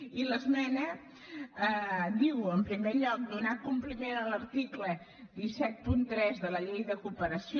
i l’esmena diu en primer lloc donar compliment a l’article cent i setanta tres de la llei de cooperació